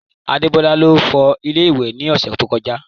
Adebola ló fọ ilé ìwẹ̀ ní ọ̀sẹ̀ tó kọjá